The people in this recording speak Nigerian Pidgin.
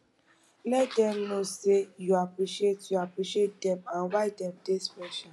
let dem no sey yu appreciate yu appreciate dem and why dem dey special